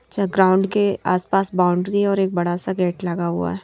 अच्छा ग्राउंड के आसपास बाउंड्री है और एक बड़ा सा गेट लगा हुआ है।